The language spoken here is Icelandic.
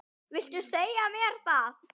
Viltu segja mér það?